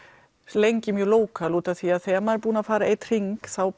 lengi mjög lókal út af því að þegar maður er búinn að fara einn hring þá